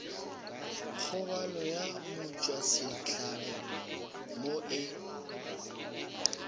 kgobalo ya motšwasehlabelo mo e